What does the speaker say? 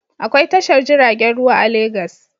Akwai tashar jiragen ruwa a Legas.